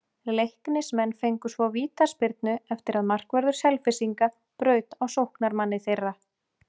Leiknismenn fengu svo vítaspyrnu eftir að markvörður Selfyssinga braut á sóknarmanni þeirra.